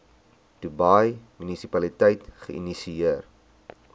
dubai munisipaliteit geïnisieer